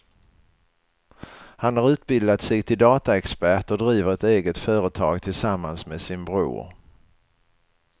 Han har utbildat sig till dataexpert och driver ett eget företag tillsammans med sin bror.